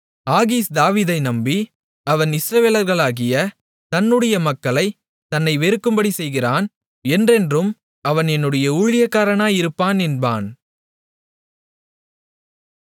ஆகீஸ் தாவீதை நம்பி அவன் இஸ்ரவேலராகிய தன்னுடைய மக்கள் தன்னை வெறுக்கும்படி செய்கிறான் என்றென்றும் அவன் என்னுடைய ஊழியக்காரனாயிருப்பான் என்பான்